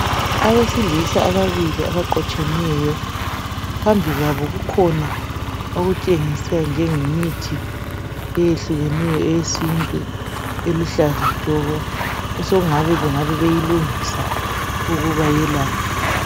Abesilisa ababili abaqotshemeyo phambi kwabo kukhona okutshengisa njengemithi eyehlukeneyo eyesintu eluhlaza tshoko okutshengisa ukuba bengabe beyilungisa ukuba belaphe.